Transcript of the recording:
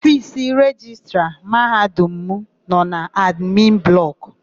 Ofiisi Rejistra Mahadum m nọ n'admin blọkụ.